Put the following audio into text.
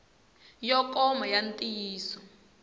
yo koma ya ntiyiso xik